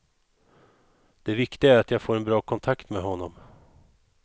Det viktiga är att jag får en bra kontakt med honom.